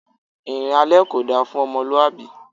Ìrìn alẹ kò da fún ọmọlúwàbí.